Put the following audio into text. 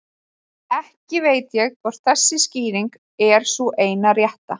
Ekki veit ég hvort þessi skýring er sú eina rétta.